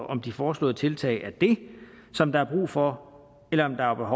om de foreslåede tiltag er det som der er brug for eller om der er